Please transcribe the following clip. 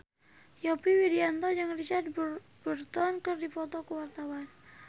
Yovie Widianto jeung Richard Burton keur dipoto ku wartawan